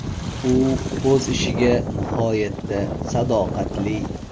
U o‘z ishiga nihoyatda sadoqatli.